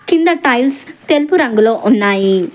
కింద టైల్స్ తెలుపు రంగులో ఉన్నాయి.